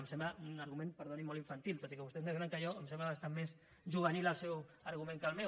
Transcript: em sembla un argument perdoni molt infantil tot i que vostè és més gran que jo em sembla bastant més juvenil el seu argument que el meu